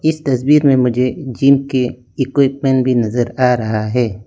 इस तस्वीर में मुझे जिम के इक्विपमेंट भी नजर आ रहा है।